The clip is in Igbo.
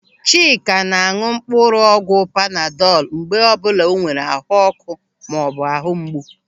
Chika ná-áñụ̀ mkpụrụ ọgwụ panadọl mgbe ọbụla o nwere ahuọ́kụ́ maọbụ ahụ mgbu.